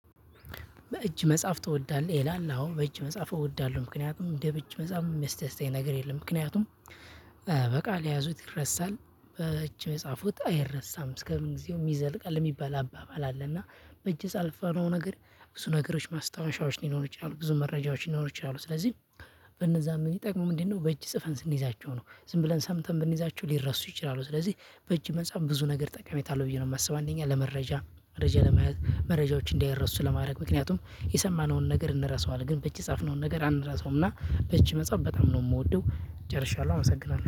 በእጅ መጻፍ ትወዳለህ ይላል አወ በእጅ መጻፍ እወዳለሁ ምክንያቱም እንደ በእጅ መጻፍ የሚያስደስተኝ ነገር የለም ምክንያቱም በቃል የያዙት ይረሳል በእጅ የጻፉት አይረሳም እስከምንጊዜውም ይዘለቃል የሚባል አባባል አለና በእጅ የጻፍነው ነገር ብዙ ነገሮች ማስታወሻዎች ሊኖሩ ይችላሉ ብዙ መረጃዎች ሊኖሩ ይችላሉ። ስለዚህ በነዛ ምን ጥቅሙ ምንድነው? በእጅ ጽፈን ስንይዛቸው ነው ዝም ብለን ሰምተን ብንይዛቸው ሊረሱ ይችላሉ። ስለዚህ በእጅ መጻፍ ብዙ ነገር ጠቃሚታለሁ ብዬ ነው የማስበው። አንደኛ ለመረጃ መረጃ ለመያዝ መረጃዎች እንዳይረሱ ለማድረግ ምክንያቱም የሰማነውን ነገር እንረሳዋለን። ግን በእጅ የጻፍነውን ነገር አንረሳውም። እና በእጅ መጻፍ በጣም ነው የምወደው ጨርሻለሁ አመሰግናለሁ